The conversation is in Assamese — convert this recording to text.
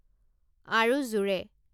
আৰু জোৰে